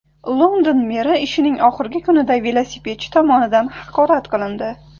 London meri ishining oxirgi kunida velosipedchi tomonidan haqorat qilindi.